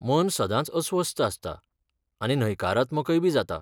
मन सदांच अस्वस्थ आसता आनी न्हयकारात्मकयबी जाता.